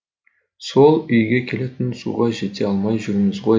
сол үйге келетін суға жете алмай жүрміз ғой